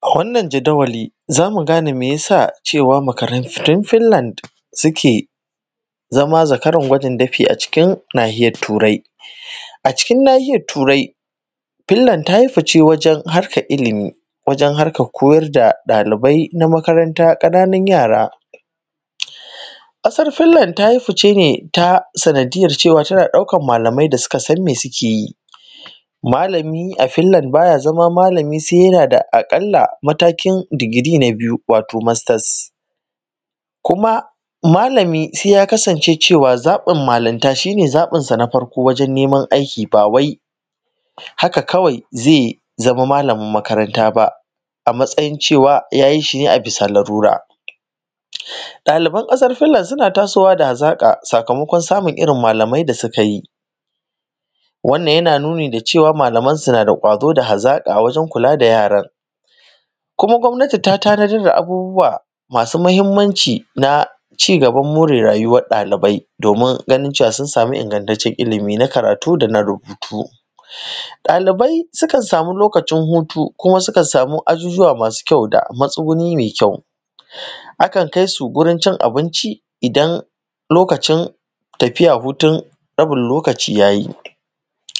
A wannan jadawali, za mu gane me ya sa cewa makarantu fil-land suke zama zakaran kwaijin dafi a cikin nahirar Turai. A cikin nahirar Turai, Fil-land ta yi fice wajen haska ilimi, wajen harkan koyar da ɗalibai na makaranta ƙananun yara. Ƙasar Fil-land ta yi fice ne ta sanadiyyar cewa tana ɗaukan malamai wanda suka san me suke yi. Malami a Fil-land ba ya zama malami se yana da aƙalla matakin digiri na biyu wato mastas, kuma malami ya kasance cewa zaɓin malamta shi ne zaɓin sa na farko wajen neman aiki, ba wai haka kawai ze zama malamin makaranta ba a bayan cewa ya yi shi ne a bisa lalura. Ɗaliban ƙasar Fil-land suna tasowa da hazaƙa, sakamakon samun irin malamai da suka yi. Wannan yana nuna cewa malamansu na da kwazo da hazaƙa wajen kula da yaran. Kuma, gwamnati ta tanazar da abubbuwa masu mahinmanci na ci-gaban more rayuwan ɗalibai, domin ganin cewa sun samu ingataccen ilimi na karatu da na rubutu. Ɗalibai sukan samu lokacin hutu, kuma sukan samu ajujjuwa masu kyau da matsuguni me kyau. Akan kai su wurin cin abinci idan lokacin tafiyar hutun rabin lokaci ya yi,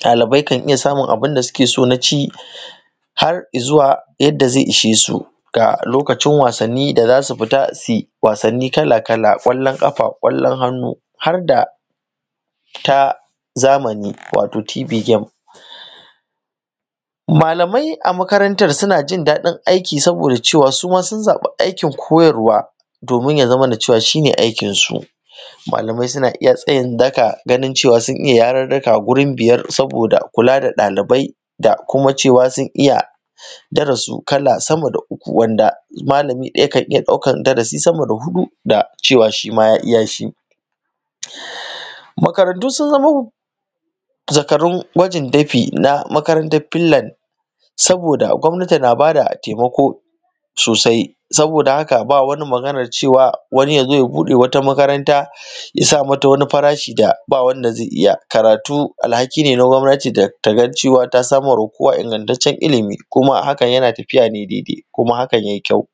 ɗalibai kan iya samun abunda suke so na ci har i zuwa yadda ze ishesu ga lokacin wasan ni, za su fita su yi wasanni kala kala kwallon ƙafa, kwallon hannu, har da ta zamani wato TV game. Malamai a makarantan su na jindaɗin aiki saboda cewa suma sun zaɓi aikin koyarwa domin ya zamana cewa shi ne aikinsu. Malamai suna iya tsayin daƙa, ganin cewa sun iya yaririka wurin biyar saboda kula da ɗalibai, da kuma cewa sun iya darasu kala samma da uku, wanda malami ɗaya kan iya ɗaukan darasi samma da huɗu, da cewa shima ya iya shi. Makarantu sun zamo zakaru kwaijin dafi na makarantan Fil-land saboda gwamnati na bada taimako sosai. Saboda haka, ba wani magana cewa wani ya zo ya buɗe makaranta ya sa mata wani farashi wanda ba wanda ze iya karatu. Alhaki ne na gwamnati daga cewa ta da sama ma kowa ingataccen ilimi, kuma hakan yana tafiya ne daidai, kuma hakan ya yi kyau.